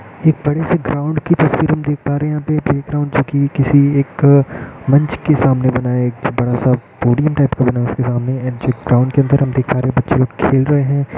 एक बड़ी-सी ग्राउंड की तस्वीर हम देख पा रहे है यहाँ पे प्लेग्राउंड जो की किसी एक मंच के सामने बना है इसके सामने एंड जो ग्राउंड के अंदर देख पा रहे है बच्चो लोग खेल रहे है।